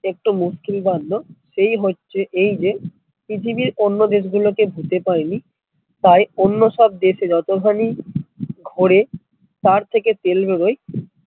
একটা মুশকিল কান্ড এই হচ্ছে এই যে পৃথিবীর অন্য দেশ গুলো কে ভুতে পায় নি তাই অন্য সব দেশে যত ঘানি ঘরে তার থেকে তেল বের হয়